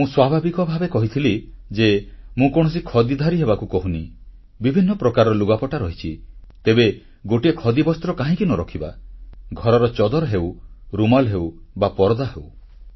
ମୁଁ ସ୍ୱାଭାବିକ ଭାବେ କହିଥିଲି ଯେ ମୁଁ କୌଣସି ଖଦୀବସ୍ତ୍ରଧାରୀ ହେବାକୁ କହୁନି ବିଭିନ୍ନ ପ୍ରକାରର ଲୁଗାପଟା ରହିଛି ତେବେ ଗୋଟିଏ ଖଦୀବସ୍ତ୍ର କାହିଁକି ନ ରଖିବା ଘରର ଚଦର ହେଉ ରୁମାଲ ହେଉ ପରଦା ହେଉ